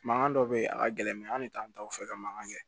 Mankan dɔ bɛ yen a ka gɛlɛn an de t'an taw fɛ ka mankan kɛ